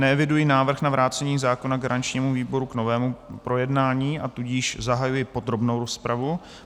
Neeviduji návrh na vrácení zákona garančnímu výboru k novému projednání, a tudíž zahajuji podrobnou rozpravu.